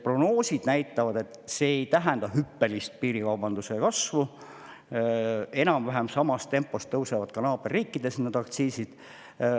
Prognoosid näitavad, et see ei tähenda hüppelist piirikaubanduse kasvu, enam-vähem samas tempos tõusevad ka naaberriikides need aktsiisid.